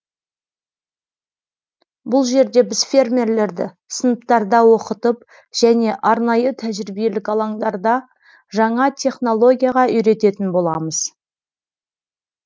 бұл жерде біз фермерлерді сыныптарда оқытып және арнайы тәжіриебелік алаңдарда жаңа технологияға үйрететін боламыз